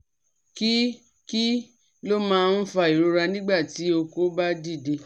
Kí Kí ló máa ń fa ìrora nígbà tí oko ba dide?